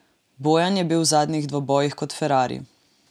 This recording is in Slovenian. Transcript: Bojan je bil v zadnjih dvobojih kot ferrari.